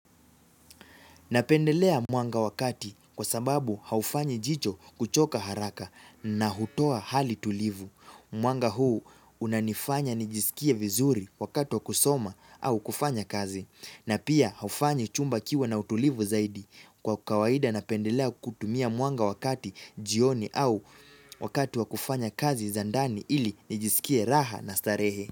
Napendelea mwanga wakati kwa sababu haufanyi jicho kuchoka haraka na hutoa hali tulivu. Mwanga huu unanifanya nijisikie vizuri wakati wa kusoma au kufanya kazi. Na pia haufanyi chumba kiwe na utulivu zaidi. Kwa kawaida napendelea kutumia mwanga wakati jioni au wakatu wa kufanya kazi zandani ili nijisikie raha na starehe.